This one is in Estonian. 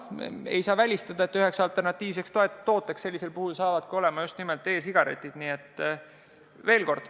Ei saa välistada, et üheks alternatiivseks valikuks saavadki just nimelt e-sigaretid.